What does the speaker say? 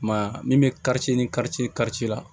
I m'a ye min bɛ karice ni kari karice la